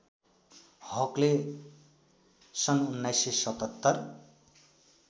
हकले सन् १९७७